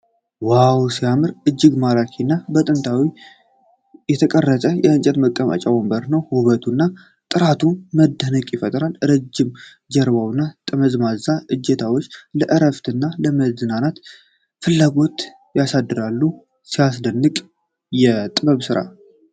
ዋው ሲያምር! እጅግ ማራኪ እና በጥንቃቄ የተቀረጸ የእንጨት መቀመጫ ወንበር ነው። ውበቱና ጥራቱ መደነቅ ይፈጥራል። ረጅም ጀርባው እና ጠመዝማዛ እጀታዎቹ ለዕረፍት እና ለመዝናናት ፍላጎት ያሳድራሉ። ሲያስደንቅ የጥበብ ሥራ!